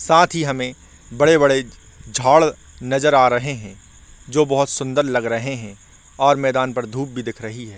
साथ ही हमें बड़े-बड़े झाड़ नज़र आ रहे है जो बहोत सुंदर लग रहे है और मैदान भर धूप भी दिख रही है।